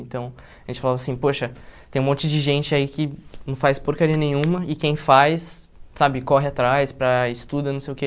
Então, a gente falava assim, poxa, tem um monte de gente aí que não faz porcaria nenhuma e quem faz, sabe, corre atrás para estuda, não sei o que...